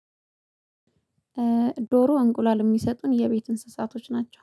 ዶሮ እንቁላል የሚሰጡን የ ቤት እንስሳቶች ናቸው